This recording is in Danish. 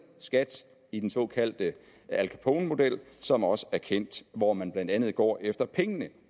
skat i den såkaldte al capone model som også er kendt hvor man blandt andet går efter pengene